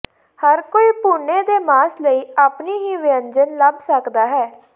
ਹਰ ਕੋਈ ਭੁੰਨੇ ਦੇ ਮਾਸ ਲਈ ਆਪਣੀ ਹੀ ਵਿਅੰਜਨ ਲੱਭ ਸਕਦਾ ਹੈ